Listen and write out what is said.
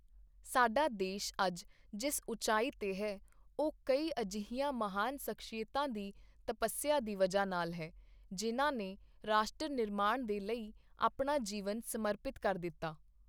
ਸਾਡਾ ਦੇਸ਼ ਅੱਜ ਜਿਸ ਉਚਾਈ ਤੇ ਹੈ, ਉਹ ਕਈ ਅਜਿਹੀਆਂ ਮਹਾਨ ਸ਼ਖਸੀਅਤਾਂ ਦੀ ਤਪੱਸਿਆ ਦੀ ਵਜ੍ਹਾ ਨਾਲ ਹੈ, ਜਿਨ੍ਹਾਂ ਨੇ ਰਾਸ਼ਟਰ ਨਿਰਮਾਣ ਦੇ ਲਈ ਆਪਣਾ ਜੀਵਨ ਸਮਰਪਿਤ ਕਰ ਦਿੱਤਾ।